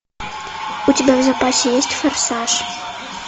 у тебя в запасе есть форсаж